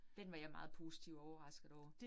Den var jeg meget positivt overrasket over